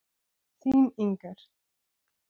Þín, Inger.